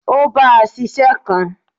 O bá a ṣiṣẹ́ kan.